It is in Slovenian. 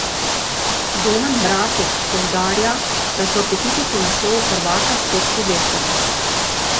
Domen Bratož poudarja, da so apetiti po naslovu prvaka spet povečali.